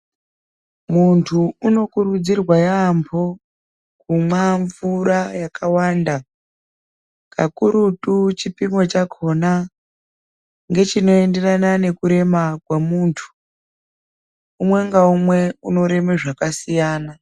Muntu unokurudzirwa yaambo kumwamvura yakawanda. Kakurutu chipimo chakona ngechinoenderana nekurema kwemuntu umwe ngaumwe unorema zvakasiyana.